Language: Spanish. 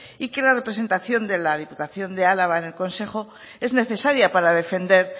y que la representación de la diputación de álava en el consejo es necesaria para defender